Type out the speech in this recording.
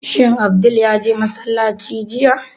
Shin Abdul ya je masallaci jiya?